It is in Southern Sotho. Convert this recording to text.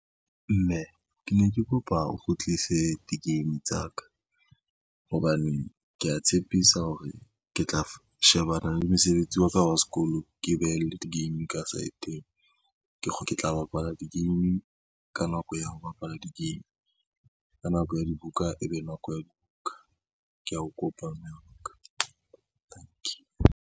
Mme ke ne ke kopa o kgutlise di-game tsa ka, hobane kea tshepisa hore ke tla shebana le mosebetsi wa ka wa sekolo, ke behelle di-game ka saeteng. Ke tla bapala di-game ka nako ya ho bapala di-game, ka nako ya dibuka, ebe nako ya dibuka kea o kopa mme wa ka, tanki.